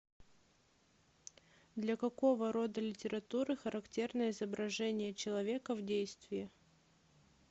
для какого рода литературы характерно изображение человека в действии